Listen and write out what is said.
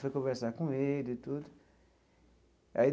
Foi conversar com ele e tudo aí.